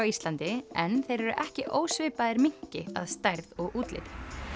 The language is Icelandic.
Íslandi en þeir eru ekki ósvipaðir minki að stærð og útliti